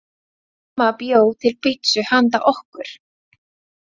Mamma bjó til pitsu handa okkur.